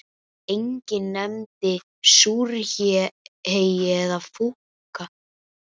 Enginn nefndi súrhey eða fúkka.